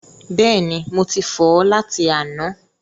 Bẹ́ẹ̀ni, mo ti fọ̀ ọ́ láti àná.